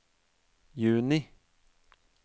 juni